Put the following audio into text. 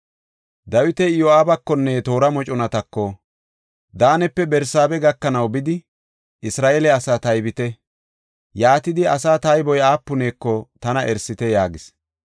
Dawiti Iyo7aabakonne toora moconatako, “Daanepe Barsaabe gakanaw bidi, Isra7eele asaa taybite. Yaatidi, asaa tayboy aapuneko tana erisite” yaagis.